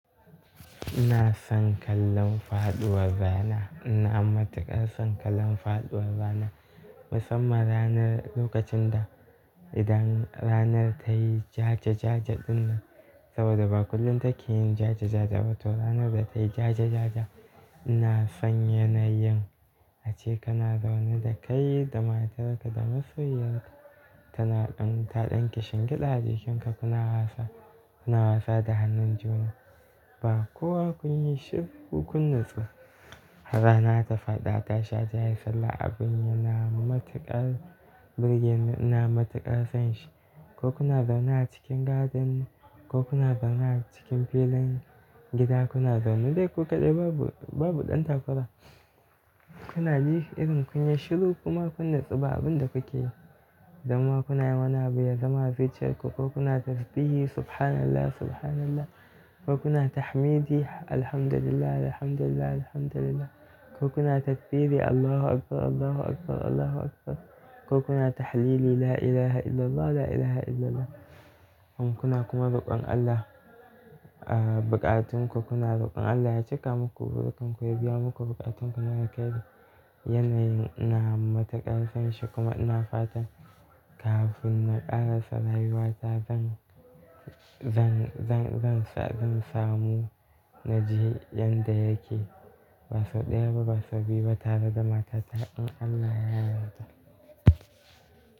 Ina son kallon faɗuwar rana, ina matuƙar son kallon faɗuwar rana. Musamman ranar lokacin da idan ranar ta yi jaja-jaja ɗin nan. Saboda ba kullum take yin jaja-jaja ba, to ranar da ta yi jaja-jaja ina son yanayin ace kana zaune da kai da matarka da masoyiyarka. Tana ɗan ta ɗan kishingida jikinka kuna wasa, kuna wasa da hannun juna. Ba kowa kun yi shiru ko kun natsu. Har rana ta faɗi a tashi aje ayi sallah abun yana matuƙar burge ni, ina matuƙar son shi. Ko kuna zaune a cikin garden ko kuna zaune a cikin filin gida kuna zaune dai ku kaɗai babu, babu ɗan takura. Tunani irin kun yi shiru kuma kun natsu ba abin da kuke yi. Donma kunayin wani abu ya zama a zuciyarku ko kuna tasbihi subhanallah subhanallah ko kuna tahmidi alhamdulillahi alhamdulillahi alhamdulillahi ko kuna tasbihi allahu akbar allahu akbar allahu akbar ko kuna tahlili la ilaha illallah la ilaha illallah. In kuna kuma roƙon Allah, ah bukatunku kuna roƙon Allah ya cika muku burukanku ya biya muku bukatunku na alkhairi. Yanayin ina matuƙar son shi kuma ina fatan kafin na ƙarasa rayuwata zan, zan, zan, zan samu naji yanda yake. Baso ɗaya ba, baso biyu ba, tara da mata ta in Allah ya yarda.